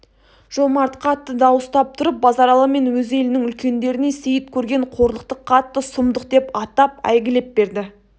жомарт қатты дауыстап тұрып базаралы мен өз елінің үлкендеріне сейіт көрген қорлықты қатты сұмдық деп атап әйгілеп берді